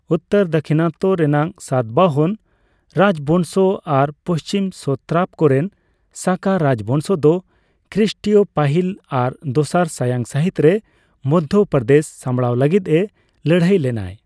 ᱩᱛᱛᱚᱨ ᱫᱟᱠᱠᱷᱤᱱᱟᱛᱛᱚ ᱨᱮᱱᱟᱜ ᱥᱟᱛᱵᱟᱦᱚᱱ ᱨᱟᱡᱵᱝᱥᱚ ᱟᱨ ᱯᱚᱥᱪᱤᱢ ᱥᱚᱛᱨᱟᱯ ᱠᱚᱨᱮᱱ ᱥᱟᱠᱟ ᱨᱟᱡᱵᱚᱝᱥᱚ ᱫᱚ ᱠᱷᱨᱤᱴᱤᱭᱚ ᱯᱟᱹᱦᱤᱞ ᱟᱨ ᱫᱚᱥᱟᱨ ᱥᱟᱭᱟᱝ ᱥᱟᱹᱦᱤᱛ ᱨᱮ ᱢᱚᱫᱫᱷᱚ ᱯᱨᱚᱫᱮᱥ ᱥᱟᱢᱲᱟᱣ ᱞᱟᱹᱜᱤᱫ ᱮ ᱞᱟᱹᱲᱦᱟᱹᱭ ᱞᱮᱱᱟᱭ ᱾